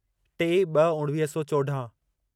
टे ॿ उणिवीह सौ चोॾाहं